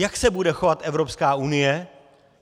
Jak se bude chovat Evropská unie?